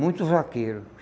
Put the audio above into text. Muitos vaqueiros.